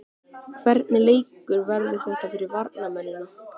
Hvernig leikur verður þetta fyrir varnarmennina?